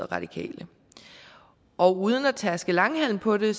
radikale og uden at tærske langhalm på det